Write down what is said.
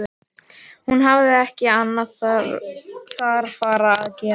Hún hafði ekki annað þarfara að gera.